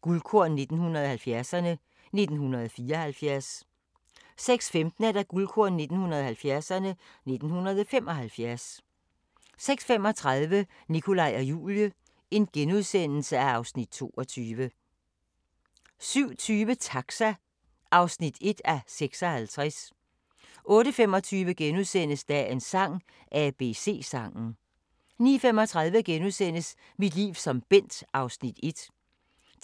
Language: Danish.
Guldkorn 1970'erne: 1974 * 06:15: Guldkorn 1970'erne: 1975 06:35: Nikolaj og Julie (Afs. 22)* 07:20: Taxa (1:56) 08:25: Dagens sang: ABC-sangen * 09:35: Mit liv som Bent (1:10)*